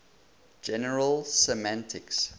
general semantics